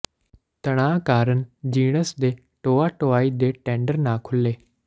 ਤਣਾਅ ਕਾਰਨ ਜਿਣਸ ਦੀ ਢੋਆ ਢੋਆਈ ਦੇ ਟੈਂਡਰ ਨਾ ਖੁੱਲ੍ਹੇ